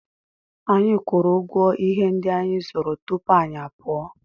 Anyị kwụrụ ụgwọ ihe ndị anyị zụrụ tupu anyị apụọ.